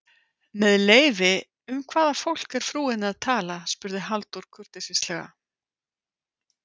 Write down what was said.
Með leyfi, um hvaða fólk er frúin að tala? spurði Halldór kurteislega.